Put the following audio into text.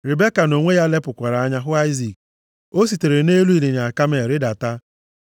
Ribeka nʼonwe ya lepụkwara anya hụ Aịzik. O sitere nʼelu ịnyịnya kamel rịdata,